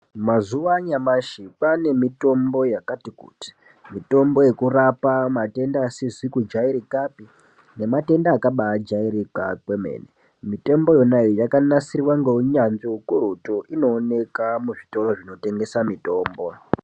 Mazuwa anyamashi kwaanemitombo yakati kuti. Mitombo yekurapa matenda asizi kujairikapi nematenda akabaajairika kwemene. Mitombo yona iyi yakanasirwa ngeunyanzvi ukurutu. Inooneka muzvitoro zvinotengesa mitombo.